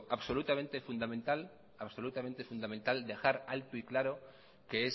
absolutamente fundamental dejar alto y claro que es